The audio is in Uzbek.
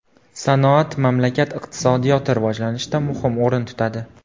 Sanoat mamlakat iqtisodiyoti rivojlanishida muhim o‘rin tutadi.